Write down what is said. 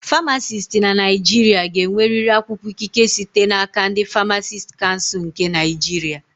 Famacisti na Naịjirịa ga-enwerịrị akwụkwọ ikike site n'aka ndị Famacisti Kansul nke Naịjirịa